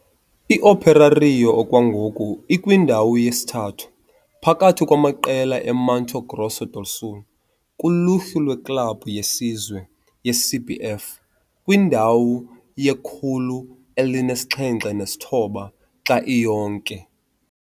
I-Operário okwangoku ikwindawo yesithathu phakathi kwamaqela e-Mato Grosso do Sul kuluhlu lweklabhu yesizwe ye-CBF, kwindawo ye-179 xa iyonke.